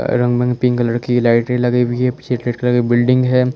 Pink colour की लाइटें लगी हुई हैं पीछे रेड कलर की बिल्डिंग है।